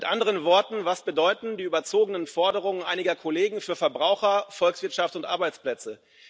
Mit anderen Worten Was bedeuten die überzogenen Forderungen einiger Kollegen für Verbraucher, Volkswirtschaft und Arbeitsplätze?